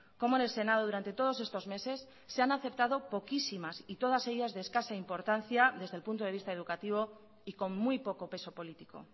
como en el senado durante todos estos meses se han aceptado poquísimas y todas ellas de escasa importancia desde el punto de vista educativo y con muy poco peso político